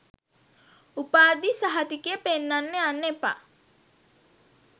උපාධි සහතිකය පෙන්නන්න යන්න එපා